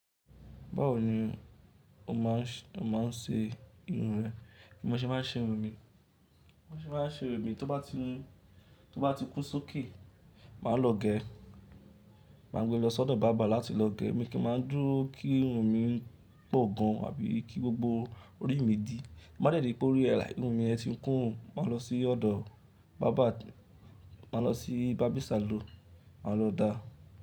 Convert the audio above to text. Báwo ni o máa ń ṣe irun rẹ? Bí mo ṣe máa ń ṣe irun mi, tó bá ti kún sókè, màá lọ gé e, màá gbe lọ sí ọ̀dọ̀ Báábà láti lọ gé ẹ́, mi ì kì í máa dúró kí irun mi pọ̀ gan an àbí kí gbogbo orí mi dí. Bí mo bá dẹ̀ ri pé orí ẹ̀ láì irun mi yẹn ti kún o, màá lọ sí ọ̀dọ̀ báábà, màá lọ sí barbing saloon, màá lọ da.